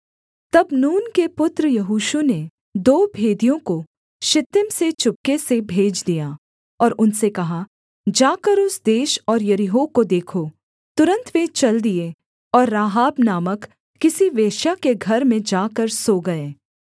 तब नून के पुत्र यहोशू ने दो भेदियों को शित्तीम से चुपके से भेज दिया और उनसे कहा जाकर उस देश और यरीहो को देखो तुरन्त वे चल दिए और राहाब नामक किसी वेश्या के घर में जाकर सो गए